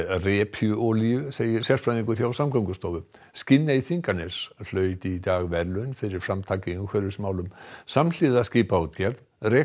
repjuolíu segir sérfræðingur hjá Samgöngustofu Skinney Þinganes hlaut í dag verðlaun fyrir framtak í umhverfismálum samhliða skipaútgerð rekur